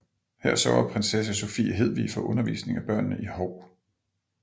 Her sørger Prinsesse Sophie Hedvig for undervisning af børnene i Hou